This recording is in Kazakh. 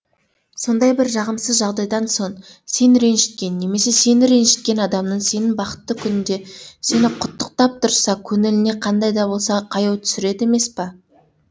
сондай бір жағымсыз жағдайдан соң сен ренжіткен немесе сені ренжіткен адамның сенің бақытты күнінде сені құттықтап тұрса көңіліне қандай да болса қаяу түсіреді емес па